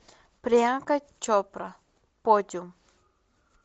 приянка чопра подиум